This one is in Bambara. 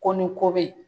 Ko ni ko be yen